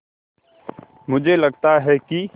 मुझे लगता है कि